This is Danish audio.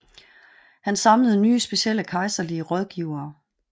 Han samlede nye specielle kejserlige rådgivere